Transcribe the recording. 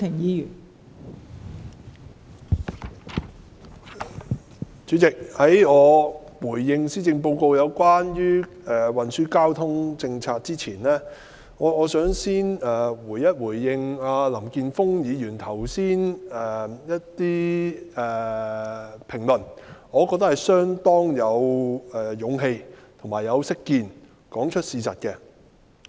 代理主席，在我回應施政報告有關運輸交通政策的部分之前，我想先回應林健鋒議員剛才的一些評論，我覺得他把事實說出來，是相當有勇氣及識見的。